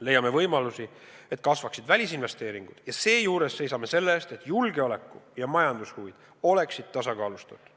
Leiame võimalusi, et kasvaksid välisinvesteeringud, ja seejuures seisame selle eest, et julgeoleku- ja majandushuvid oleksid tasakaalustatud.